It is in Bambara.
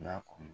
N'a kun